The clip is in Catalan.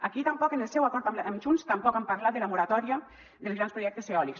aquí tampoc en el seu acord amb junts tampoc han parlat de la moratòria dels grans projectes eòlics